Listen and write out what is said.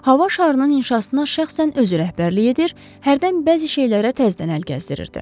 Hava şarının inşasına şəxsən özü rəhbərlik edir, hərdən bəzi şeylərə təzdən əl gəzdirirdi.